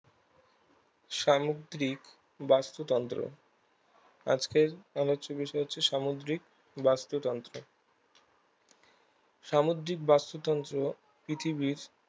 সামুদ্রিক বাস্তুতন্ত্র আজকের আলোচ্য বিষয় হচ্ছে সামদ্রিক বাস্তুতন্ত্র সামুদ্রিক বাস্তুতন্ত্র পৃথিবীর